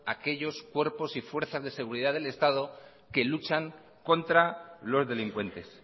aquellos cuerpos y fuerzas de seguridad del estado que luchan contra los delincuentes